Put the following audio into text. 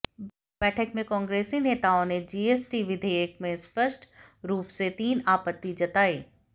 बैठक में कांग्रेसी नेताओं ने जीएसटी विधेयक में स्पष्ट रूप से तीन आपत्ति जताई